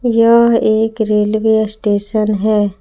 यह एक railway station है।